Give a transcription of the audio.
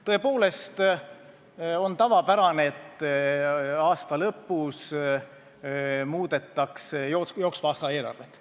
Tõepoolest on tavapärane, et aasta lõpus muudetakse jooksva aasta eelarvet.